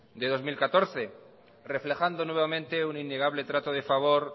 del dos mil catorce reflejando nuevamente un innegable trato de favor